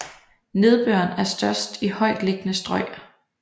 Nedbøren er størst i højtliggende strøg